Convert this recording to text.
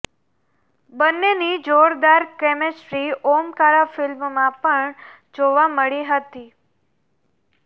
બંનેની જોરદાર કેમેસ્ટ્રી ઓમકારા ફિલ્મમાં પણ જોવા મળી હતી